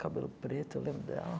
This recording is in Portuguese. Cabelo preto, eu lembro dela.